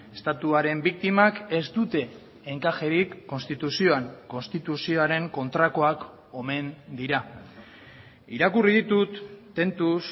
estatuaren biktimak ez dute enkajerik konstituzioan konstituzioaren kontrakoak omen dira irakurri ditut tentuz